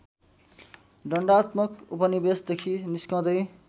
दण्डात्मक उपनिवेशदेखि निस्कँदै